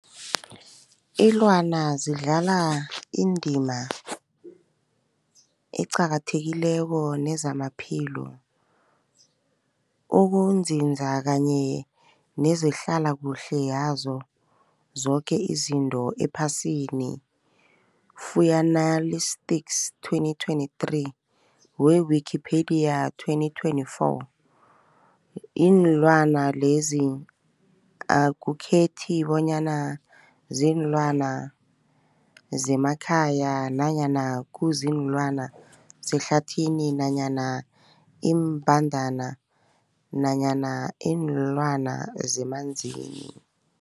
Ilwana zidlala indima eqakathekileko kezamaphilo, ukunzinza kanye nezehlala kuhle yazo zoke izinto ephasini, Fuanalytics 2023 we-Wikipedia 2024. Iinlwana lezi akukhethi bonyana ziinlwana zemakhaya nanyana kuziinlwana zehlathini nanyana iimbandana nanyana iinlwana zemanzini.